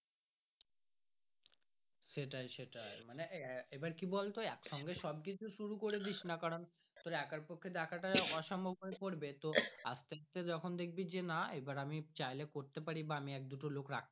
সেটাই সেটাই মানে কি বলতো একসঙ্গে সব কিছু শুরু করে দিস না কারণ একের পক্ষে দেখা তা অসম্ভব হয়ে পড়বে তো আস্তে আস্তে যখন দেখবি যে না আবার আমি চাইলে করতে পারি বা আমি এক দুটো লোক রাখতে পারি।